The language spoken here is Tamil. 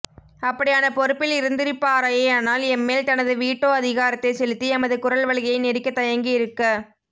அப்படியான பொறுப்பில் இருந்திருப்பாரேயானால் எம்மேல் தனது வீட்டோ அதிகாரத்தை செலுத்தி எமது குரல்வளையை நெரிக்கத் தயங்கியிருக்க